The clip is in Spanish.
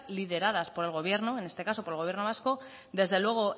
lideradas por el gobierno en este caso por el gobierno vasco desde luego